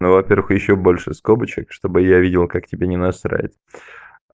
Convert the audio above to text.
ну во-первых ещё больше скобочек чтобы я видел как тебе не насрать